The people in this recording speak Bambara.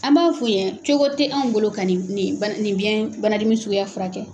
An b'a f'u n yen cogo tɛ an bolo ka nin ba nin nin biɲɛ bana dimi suguya furakɛ.